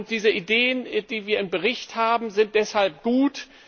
Diese Ideen, die wir im Bericht haben, sind deshalb gut.